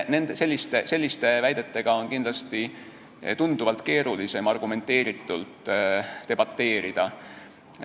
Selliste väidetega on kindlasti tunduvalt keerulisem argumenteeritult debateerida.